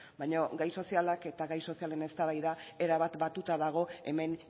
baina gai sozialak eta gai sozialen eztabaida erabat batuta dago hemen